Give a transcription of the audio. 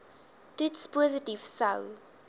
toets positief sou